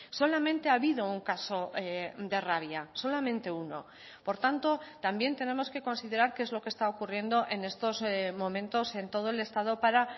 solamente ha habido un caso de rabia solamente uno por tanto también tenemos que considerar qué es lo que está ocurriendo en estos momentos en todo el estado para